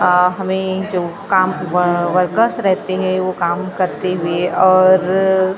अ हमे जो काम व् वर्कर्स रहते है वो काम करते हुए और --